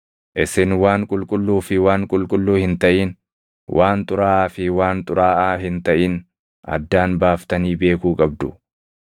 Isin waan qulqulluu fi waan qulqulluu hin taʼin, waan xuraaʼaa fi waan xuraaʼaa hin taʼin addaan baaftanii beekuu qabdu;